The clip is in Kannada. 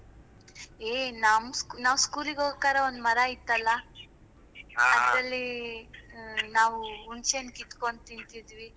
ಏ ನಮ್ ನಾವ್ school ಹೋಗ್ಬೇಕಾದ್ರೆ ಒಂದ್ ಮರ ಇತ್ತಲ್ಲ ನಾವು ಹುಣಸೆಹಣ್ಣು ಕಿತ್ಕೊಂಡು ಅದ್ರಲ್ಲಿ ನಾವು ಹುಣಸೆಹಣ್ಣು ಕಿತ್ಕೊಂಡು ತಿಂತಿದ್ವಿ,